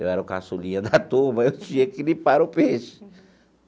Eu era o caçulinha da turma, eu tinha que limpar o peixe.